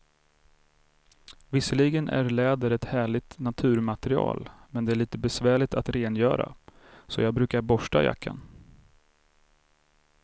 Visserligen är läder ett härligt naturmaterial, men det är lite besvärligt att rengöra, så jag brukar borsta jackan.